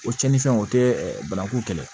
O cɛnin fɛn o tɛ bananku kɛlɛ